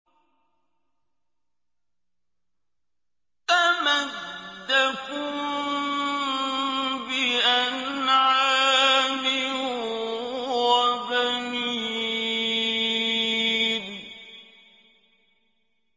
أَمَدَّكُم بِأَنْعَامٍ وَبَنِينَ